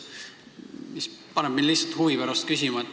See paneb mind lihtsalt huvi pärast küsima nii.